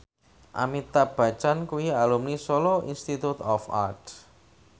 Amitabh Bachchan kuwi alumni Solo Institute of Art